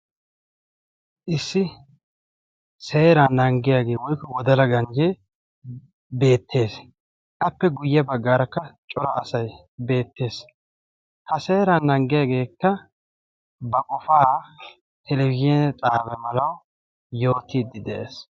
issi seeran nanggiyaagee woykko wodala ganjjee beettees appe guyye baggaarakka cora asay beettees ha seeran nanggiyaageekka ba qofaa telebizhina xaawa malaa yootiiddi de'ees